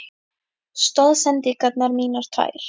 Stoðsendingarnar mínar tvær?